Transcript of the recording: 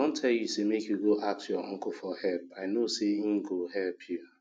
i don tell you make you go ask your uncle for help and i know say he go help you